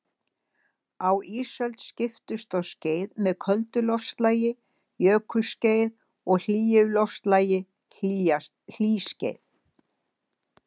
Á ísöld skiptust á skeið með köldu loftslagi, jökulskeið, og hlýju loftslagi, hlýskeið.